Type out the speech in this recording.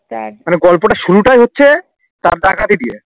মানে গল্পটার শুরুটাই হচ্ছে তার ডাকাতি দিয়ে